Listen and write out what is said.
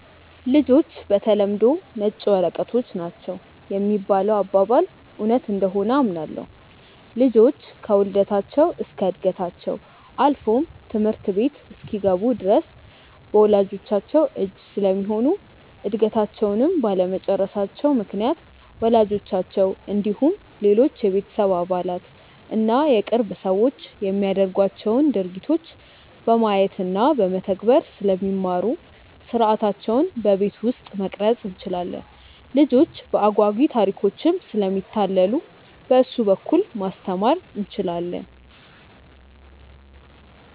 ''ልጆች በተለምዶ ነጭ ወረቀቶች ናቸው ''የሚባለው አባባል እውነት እንደሆነ አምናለሁ። ልጆች ከውልደታቸው እስከ ዕድገታቸው አልፎም ትምህርት ቤት እስኪገቡ ድረስ በወላጅቻቸው እጅ ስለሚሆኑ እድገታቸውንም ባለመጨረሳቸው ምክንያት ወላጆቻቸው እንዲሁም ሌሎች የቤተሰብ አባላት እና የቅርብ ሰዎች የሚያደርጓቸውን ድርጊቶች በማየት እና በመተግበር ስለሚማሩ ሥርዓታቸውን በቤት ውስጥ መቅረፅ እንችላለን። ልጆች በአጓጊ ታሪኮችም ስለሚታለሉ በእሱ በኩል ማስተማር እንችላለን።